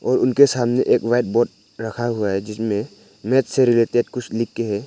और उनके सामने एक वाइट बोर्ड रखा हुआ है जिसमें मैथ से रिलेटेड कुछ लिख के है।